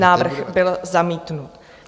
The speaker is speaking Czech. Návrh byl zamítnut.